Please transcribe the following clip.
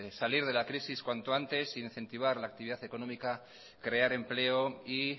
salir de la crisis cuanto antes incentivar la actividad económica crear empleo y